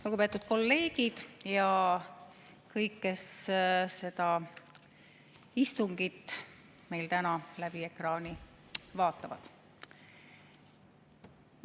Lugupeetud kolleegid ja kõik, kes meie istungit täna läbi ekraani vaatavad!